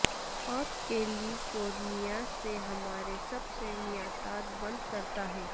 اور California سے ہمارے سب سے نباتات بند کرتا ہے